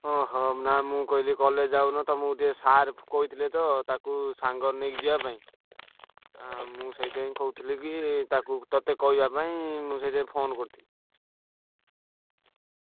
ଓହୋ! ନାଁ ମୁଁ କହିଲି କି college ଯାଉନ ତ ମୁଁ ଟିକେ sir କହିଥିଲେ ତ ତାକୁ ସାଙ୍ଗରେ ନେଇ ଯିବା ପାଇଁ। ଆ ମୁଁ ସେଇଠି ପାଇଁ କହୁଥିଲି କି ତାକୁ ତତେ କହିବା ପାଇଁ ମୁଁ ସେଇଠି ପାଇଁ phone କରିଥିଲି।